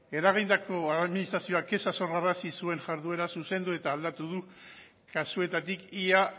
eragindako administrazio kexak sorrarazi zuen jarduera zuzendu eta aldatu du kasuetatik ia